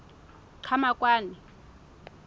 qhamakwane